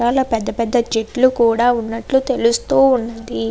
చాల పెద్ద పెద్ద చెట్లు కూడా వున్నట్లు తెలుస్తోంది.